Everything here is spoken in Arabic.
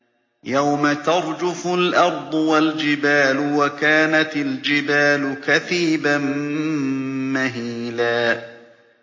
يَوْمَ تَرْجُفُ الْأَرْضُ وَالْجِبَالُ وَكَانَتِ الْجِبَالُ كَثِيبًا مَّهِيلًا